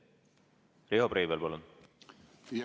Riho Breivel, palun!